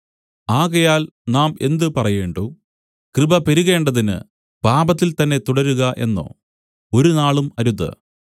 ആകയാൽ നാം എന്ത് പറയേണ്ടു കൃപ പെരുകേണ്ടതിന് പാപത്തിൽതന്നെ തുടരുക എന്നോ ഒരുനാളും അരുത്